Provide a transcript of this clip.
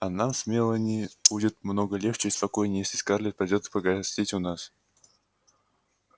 а нам с мелани будет много легче и спокойней если скарлетт придёт погостить у нас